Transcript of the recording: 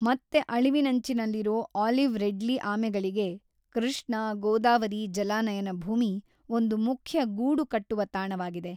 ಮತ್ತೆ ಅಳಿವಿನಂಚಿನಲ್ಲಿರೋ olive ridley ಆಮೆಗಳಿಗೆ ಕೃಷ್ಣಾ- ಗೋದಾವರಿ ಜಲಾನಯನ ಭೂಮಿ ಒಂದು ಮುಖ್ಯ ಗೂಡುಕಟ್ಟುವ ತಾಣವಾಗಿದೆ